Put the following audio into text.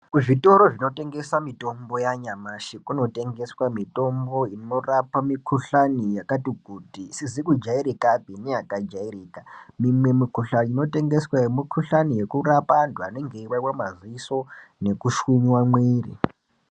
Kuzvitoro kunotengeswa mitombo yanyamashi kunotengeswe mitombo inorapa mikuhlani yakati kuti isizi kujairikapi neyaka jairika mimwe mikuhlani inotengeswa mikuhlani yekurapa antu anenge eiwawiwa madziso nekushinyiwa miri .